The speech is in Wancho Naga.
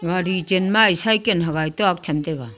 gari chanmae saikan hagai tuak cham taga.